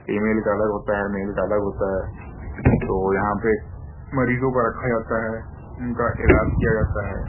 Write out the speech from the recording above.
Female का अलग होता है। मेल का अलग होता है। तो यहां पे मरीजों का रखा जाता है। उनका इलाज किया जाता है।